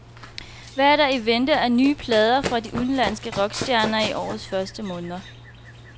Hvad er der i vente af nye plader fra de udenlandske rockstjerner i årets første måneder?